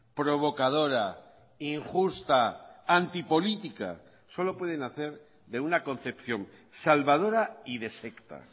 provocadora injusta antipolítica solo pueden hacer de una concepción salvadora y defecta